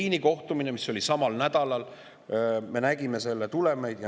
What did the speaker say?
Berliini kohtumine oli samal nädalal ja me nägime selle tulemeid.